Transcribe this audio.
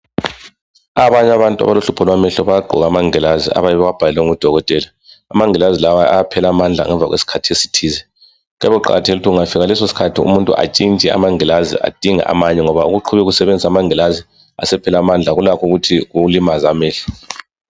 Abanye abantu abalohluoho lwamehlo bayagqoka amangilazi abayabe bewabhalelwe ngudokotela .Amangilazi lawa ayaphela amandla ngemva kwesikhathi esithize .Kuyabe kuqakathekile ukuthi . Kungafika leso sikhathi umuntu atshintshe amangilazi adinge àmanye . Ngoba ukuqhubeka usebenzisa amangilazi asephela mandla kulakho ukuthi kukulimaze amehlo .